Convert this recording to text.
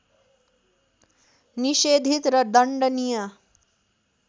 निषेधित र दण्डनीय